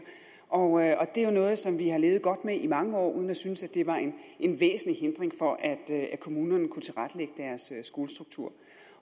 og det er noget som vi har levet godt med i mange år uden at synes at det var en væsentlig hindring for at kommunerne kunne tilrettelægge deres skolestruktur